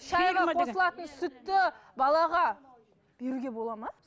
шайға қосылатын сүтті балаға беруге болады ма